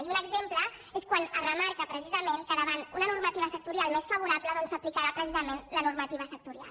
i un exemple és quan es remarca precisament que davant una normativa sectorial més favorable doncs s’aplicarà precisament la normativa sectorial